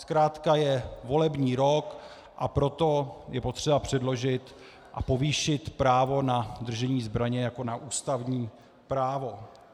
Zkrátka je volební rok, a proto je potřeba předložit a povýšit právo na držení zbraně jako na ústavní právo.